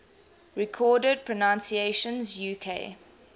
recorded pronunciations uk